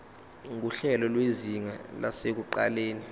nguhlelo lwezinga lasekuqaleni